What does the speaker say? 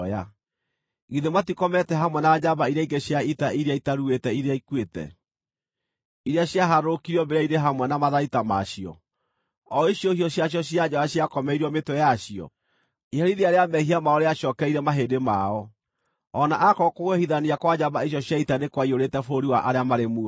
Githĩ matikomete hamwe na njamba iria ingĩ cia ita iria itaruĩte iria ikuĩte, iria ciaharũrũkirio mbĩrĩra-inĩ hamwe na matharaita ma cio, o icio hiũ ciacio cia njora ciakomeirio mĩtwe yacio? Iherithia rĩa mehia mao rĩacookereire mahĩndĩ mao, o na akorwo kũguoyohithania kwa njamba icio cia ita nĩ kwaiyũrĩte bũrũri wa arĩa marĩ muoyo.